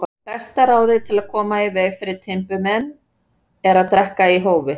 Besta ráðið til að koma í veg fyrir timburmenn er að drekka í hófi.